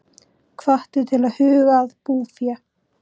Hvattir til að huga að búfé